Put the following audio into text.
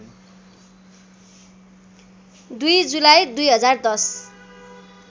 २ जुलाई २०१०